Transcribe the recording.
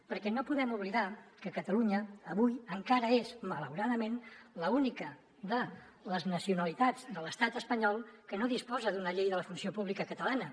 perquè no podem oblidar que catalunya avui encara és malauradament l’única de les nacionalitats de l’estat espanyol que no disposa d’una llei de la funció pública catalana